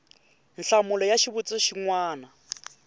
nhlamulo ya xivutiso xin wana